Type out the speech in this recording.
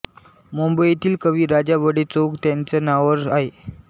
मुंबईतील कवी राजा बढे चौक त्यांच्या नावावर आहे